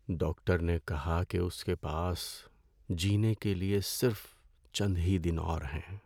Doctor نے کہا کہ اس کے پاس جینے کے لیے صرف چند ہی دن اور ہیں۔